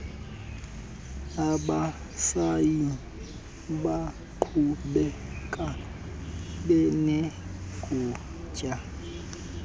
abasayi kuqhubeka benegunya